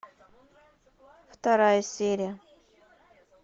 вторая серия